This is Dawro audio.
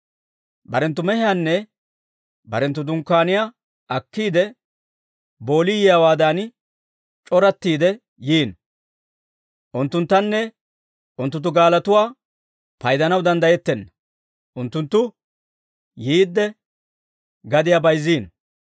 Barenttu mehiyaanne barenttu dunkkaaniyaa akkiide, boolii yiyaawaadan c'orattiide yiino; unttunttanne unttunttu gaalotuwaa paydanaw danddayettenna; unttunttu yiidde gadiyaa bayzzino.